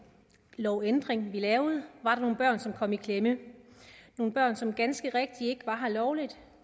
lovændring vi lavede var der nogle børn som kom i klemme nogle børn som ganske rigtigt ikke var her lovligt